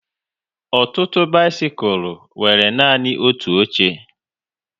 Ọtụtụ bisikul nwere nanị otu oche